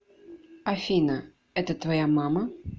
афина это твоя мама